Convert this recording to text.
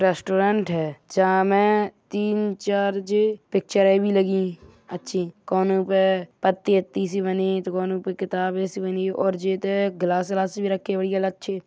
रेस्टोरेंट है मैं तीन चार जे पिच्चरे भी लगी हुयी अच्छी कोनु पे पत्ती अत्ती सी बनी हुयी तो कोनो पे किताब जैसी बनी हुयी और जे ते ग्लास वलास भी रखे हुए है अलग छी।